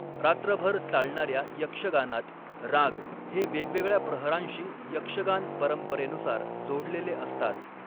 रात्रभर चालणाऱ्या यक्षगानात, राग हे वेगवेगळ्या प्रहरांशी यक्षगान परंपरेनुसार जोडलेले असतात